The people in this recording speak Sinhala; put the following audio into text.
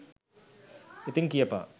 ඉතින් කියපන්